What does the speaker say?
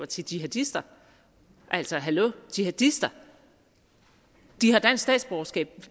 til jihadister altså hallo jihadister de har dansk statsborgerskab